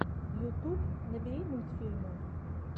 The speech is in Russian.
ютуб набери мультфильмы